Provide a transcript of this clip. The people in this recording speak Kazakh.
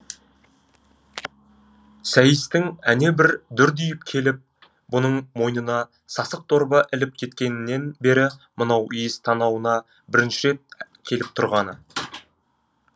сәйістің әне бір дүрдиіп келіп бұның мойнына сасық дорба іліп кеткенінен бері мынау иіс танауына бірінші рет келіп тұрғаны